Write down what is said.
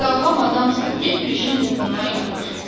Sağlam adamsan, get bir işin qulpundan yapış.